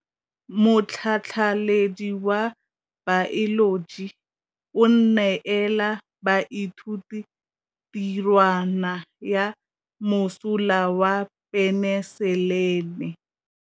Motlhatlhaledi wa baeloji o neela baithuti tirwana ya mosola wa peniselene.